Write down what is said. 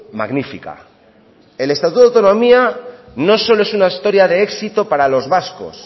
magnífica el estatuto de autonomía no solo es una historia de éxito para los vascos